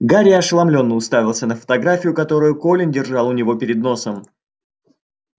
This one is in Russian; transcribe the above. гарри ошеломлённо уставился на фотографию которую колин держал у него перед носом